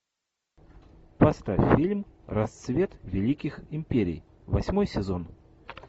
поставь фильм рассвет великих империй восьмой сезон